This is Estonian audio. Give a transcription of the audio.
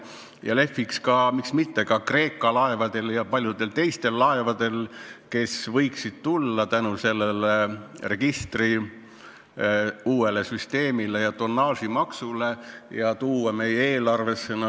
Ja lehviks ka, miks mitte, Kreeka laevadel ja paljudel teistel laevadel, kes võiksid tulla tänu uuele registrisüsteemile ja tonnaažitasule meie eelarvesse raha tooma.